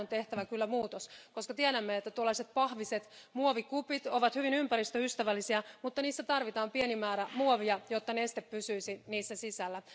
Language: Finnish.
Tähän on tehtävä kyllä muutos, koska tiedämme, että pahviset muovikupit ovat hyvin ympäristöystävällisiä, mutta niissä tarvitaan pieni määrä muovia, jotta neste pysyisi niissä sisällä.